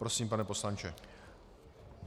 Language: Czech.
Prosím, pane poslanče.